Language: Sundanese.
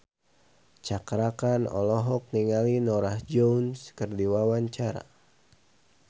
Cakra Khan olohok ningali Norah Jones keur diwawancara